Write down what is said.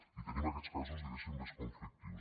i tenim aquests casos diguéssim més conflictius